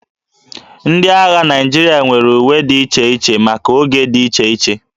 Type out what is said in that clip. Ndị agha Naịjirịa nwere uwe dị iche iche maka oge dị iche iche